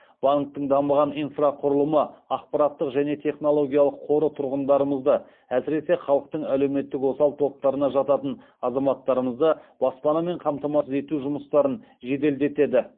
банктің дамыған инфрақұрылымы ақпараттық және технологиялық қоры тұрғындарымызды әсіресе халықтың әлеуметтік осал топтарына жататын азаматтарымызды баспанамен қамтамасыз ету жұмыстарын жеделдетеді